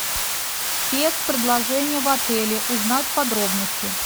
спецпредложение в отеле узнать подробности